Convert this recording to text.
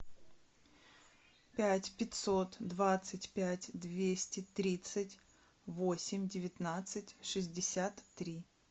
пять пятьсот двадцать пять двести тридцать восемь девятнадцать шестьдесят три